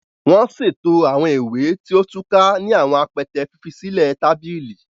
Wọn ṣeto awọn ìwé tí o túká ni awọn apẹtẹ fifisilẹ tabili.